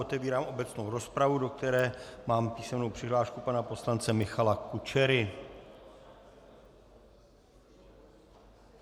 Otevírám obecnou rozpravu, do které mám písemnou přihlášku pana poslance Michala Kučery.